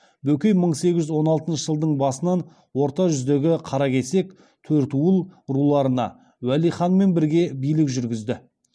бөкей мың сегіз жүз он алтыншы жылдың басынан орта жүздегі қаракесек төртуыл руларына уәли ханмен бірге билік жүргізді